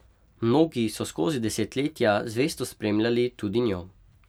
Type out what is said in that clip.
Mnogi so skozi desetletja zvesto spremljali tudi njo.